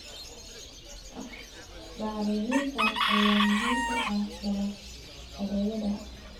Bacriminta ayaa muhiim u ah dalagyadayada.